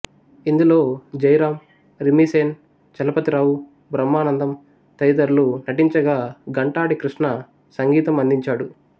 ఇందులో జయరాం రిమ్మిసేన్ చలపతిరావు బ్రహ్మానందం తదితరులు నటించగా ఘంటాడి కృష్ణ సంగీతం అందించాడు